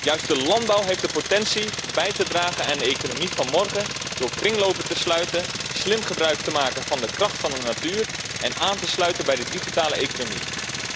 Juist de landbouw heeft de potentie bij te dragen aan de economie van morgen door kringlopen te sluiten, slim gebruik te maken van de kracht van de natuur en aan te sluiten bij de digitale economie.